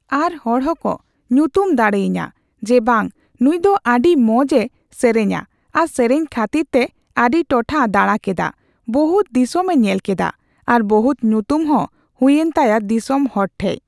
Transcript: ᱟᱨ ᱦᱚᱲ ᱦᱚᱸᱠᱚ ᱧᱩᱛᱩᱢ ᱫᱟᱲᱮᱣᱧᱟᱹ ᱡᱮ ᱵᱟᱝ ᱱᱩᱭ ᱫᱚ ᱟᱰᱤ ᱢᱚᱸᱡᱽ ᱮ ᱥᱮᱨᱮᱧᱟ ᱟᱨ ᱥᱮᱨᱮᱧ ᱠᱷᱟᱛᱤᱨ ᱛᱮ ᱟᱰᱤ ᱴᱚᱴᱷᱟ ᱫᱟᱲᱟ ᱠᱮᱫᱟ, ᱵᱚᱦᱩᱛ ᱫᱤᱥᱚᱢᱮ ᱧᱮᱞ ᱠᱮᱫᱟ ᱟᱨ ᱵᱚᱦᱩᱛ ᱧᱩᱛᱩᱢ ᱦᱚᱸ ᱦᱩᱭ ᱮᱱ ᱛᱟᱭᱟ ᱫᱤᱥᱚᱢ ᱦᱚᱲ ᱴᱷᱮᱡ ᱾